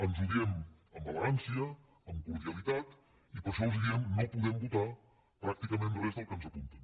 ens ho diem amb elegància amb cordialitat i per això els diem no podem votar pràcticament res del que ens apunten